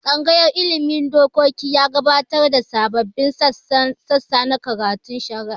Tsangayar ilmin dokoki ya gabatar da sababbin sassa na karatun shari'a